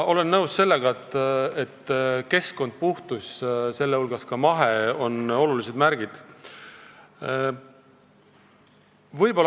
Olen nõus sellega, et keskkond ja puhtus, sh mahepõllumajandus, on olulised märgid.